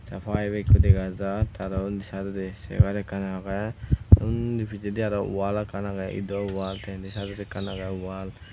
te payep ekkho dega jar te aro ondi saidondi cegar ekkan agey undi pijede aro wall ekkan agey ido wall te indi saidodi ekkan agey wall .